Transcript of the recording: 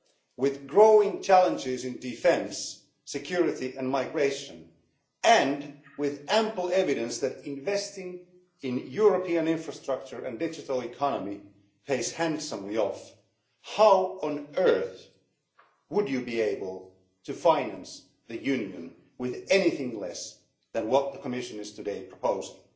With growing challenges in defence, security and migration and with ample evidence that investing in European infrastructure and digital economy pays off handsomely, how on earth would you be able to finance the Union with anything less than what the Commission is today proposing?